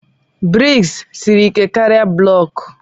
Buloku siri ike karịa ngọngọ.